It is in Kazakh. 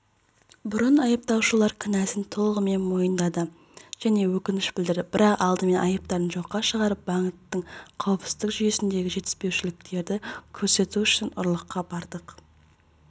бұрын айыпталушылар кінәсін толығымен мойындады және өкініш білдірді бірақ алдымен айыптарын жоққа шығарып банктің қауіпсіздік жүйесіндегі жетіспеушіліктерді көрсету үшін ұрлыққа бардық